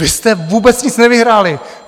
Vy jste vůbec nic nevyhráli!